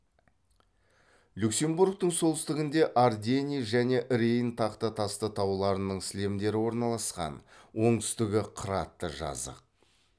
люксембургтың солтүстігінде ардени және рейн тақта тасты тауларының сілемдері орналасқан оңтүстігі қыратты жазық